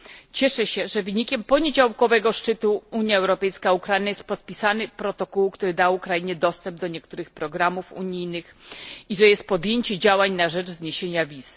Cieszę się, że wynikiem poniedziałkowego szczytu Unia Europejska Ukraina jest podpisany protokół, który da Ukrainie dostęp do niektórych programów unijnych, i że jest podjęcie działań na rzecz zniesienia wiz.